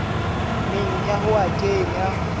meng ya ho a kenya